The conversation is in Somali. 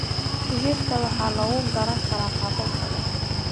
Digirta waxaa lagu karin karaa qaabab badan.